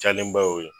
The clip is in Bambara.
Jalenba y'o ye